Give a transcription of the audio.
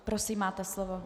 Prosím, máte slovo.